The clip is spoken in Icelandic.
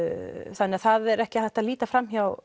þannig það er ekki hægt að líta fram hjá